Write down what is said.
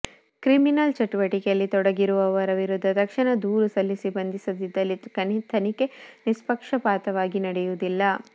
criminal ಚಟುವಟಿಕೆಯಲ್ಲಿ ತೊಡಗಿರುವವರ ವಿರುದ್ಧ ತಕ್ಷಣ ದೂರು ಸಲ್ಲಿಸಿ ಬಂಧಿಸದಿದ್ದಲ್ಲಿ ತನಿಖೆ ನಿಷ್ಪಕ್ಷಪಾತವಾಗಿ ನಡೆಯುವುದಿಲ್ಲ